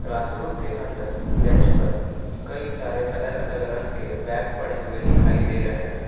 Classroom के अंदर bench पर कई सारे अलग अलग रंग के बैग पड़े हुए दिखाई दे रहे हैं।